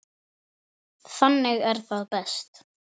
Þannig er það best.